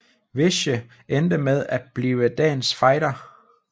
Veyhe endte med at blive dagens fighter